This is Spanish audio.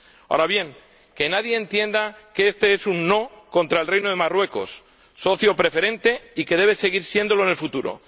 Ahora bien, que nadie entienda que este es un no contra el Reino de Marruecos, socio preferente, y que debe seguir siéndolo en el futuro.